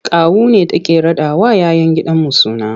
Kawu ne take raɗawa 'ya 'yan gidanmu suna.